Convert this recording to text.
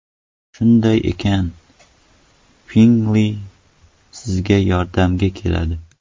Shunday ekan, Pinngle sizga yordamga keladi.